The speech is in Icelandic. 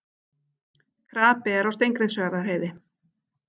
Krapi er á Steingrímsfjarðarheiði